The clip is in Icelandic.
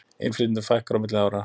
Innflytjendum fækkar á milli ára